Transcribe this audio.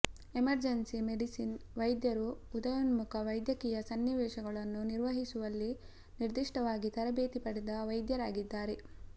emergency medicine ವೈದ್ಯರು ಉದಯೋನ್ಮುಖ ವೈದ್ಯಕೀಯ ಸನ್ನಿವೇಶಗಳನ್ನು ನಿರ್ವಹಿಸುವಲ್ಲಿ ನಿರ್ದಿಷ್ಟವಾಗಿ ತರಬೇತಿ ಪಡೆದ ವೈದ್ಯರಾಗಿದ್ದಾರೆ